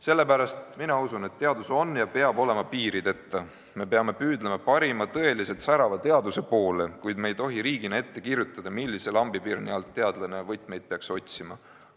Sellepärast usun, et teadus on ja peab olema piirideta, me peame püüdlema parima, tõeliselt särava teaduse poole, kuid me ei tohi riigina ette kirjutada, millise lambipirni alt teadlane võtmeid peaks otsima.